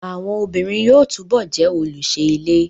Àwọn obìnrin yóò túbọ̀ jẹ́ olùṣe ilé